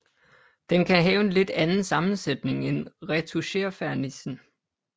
Den kan have en lidt anden sammensætning end retoucherfernissen